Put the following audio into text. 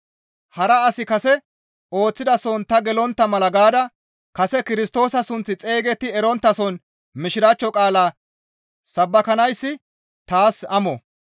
Hara asi kase ooththidason ta gelontta mala gaada kase Kirstoosa sunththi xeygetti eronttason Mishiraachcho qaalaa sabbakanayssi taas amo.